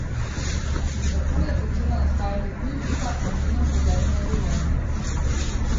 In tako je začela nastajati knjižica o njenem pogledu na življenje.